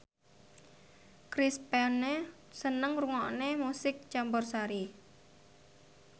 Chris Pane seneng ngrungokne musik campursari